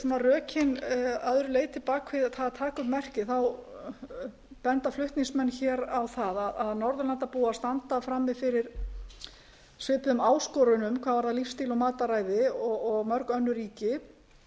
rökin að öðru leyti bak við það að taka upp merkið benda flutningsmenn á það að norðurlandabúar standa frammi fyrir svipuðum áskorunum hvað varðar lífsstíl og matarræði og mörg önnur ríki